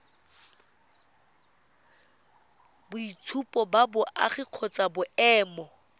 boitshupo ba boagi kgotsa boemo